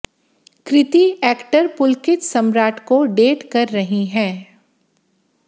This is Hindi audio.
कृति एक्टर पुलकित सम्राट को डेट कर रही हैं